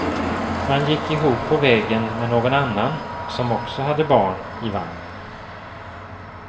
Man gick ihop på vägen med någon annan som också hade barn i vagn.